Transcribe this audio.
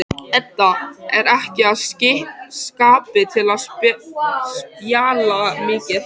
Edda er ekki í skapi til að spjalla mikið.